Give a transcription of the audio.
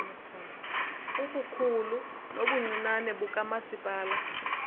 ubukhulu nobuncinane bukamasipala